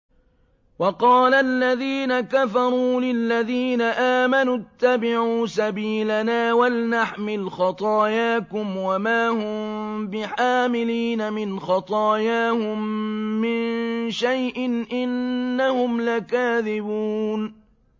وَقَالَ الَّذِينَ كَفَرُوا لِلَّذِينَ آمَنُوا اتَّبِعُوا سَبِيلَنَا وَلْنَحْمِلْ خَطَايَاكُمْ وَمَا هُم بِحَامِلِينَ مِنْ خَطَايَاهُم مِّن شَيْءٍ ۖ إِنَّهُمْ لَكَاذِبُونَ